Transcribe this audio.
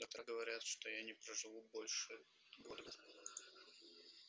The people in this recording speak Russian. доктора говорят что я не проживу больше года двух